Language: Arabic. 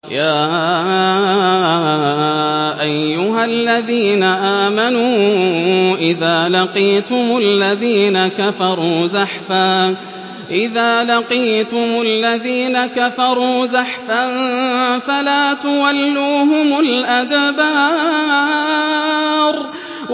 يَا أَيُّهَا الَّذِينَ آمَنُوا إِذَا لَقِيتُمُ الَّذِينَ كَفَرُوا زَحْفًا فَلَا تُوَلُّوهُمُ الْأَدْبَارَ